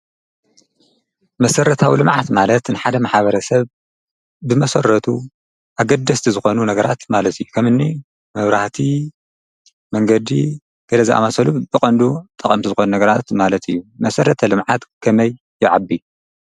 መሰረታዊ ልምዓት ማለት ንሓደ ማሕበረሰብ ብመሰረቱ ኣገደስቲ ዝኾኑ ነገራት ማለት እዩ፡፡ ከም እኒ መብራህቲ፣ መንገዲ ገለ ዝኣምሰሉ ብቐንዱ ጠቐምቲ ዝኾኑ ነገራት ማለት እዩ፡፡ መሰረተ ልምዓት ከመይ ይዓቢ?